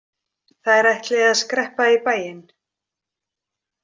Þær ætli að skreppa í bæinn.